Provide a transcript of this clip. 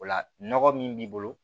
O la nɔgɔ min b'i bolo